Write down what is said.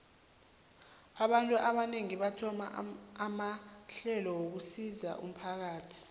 abantu abanengi bathoma amahlelo wokusizo umphakathi